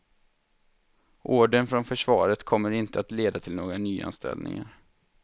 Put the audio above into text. Ordern från försvaret kommer inte att leda till några nyanställningar.